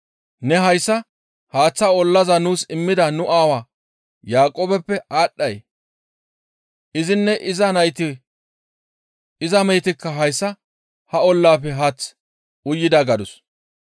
Ne hayssa haaththa ollaza nuus immida nu aawaa Yaaqoobeppe aadhdhay? Izinne iza nayti iza mehetikka hayssa ha ollaafe haath uyida» gadus.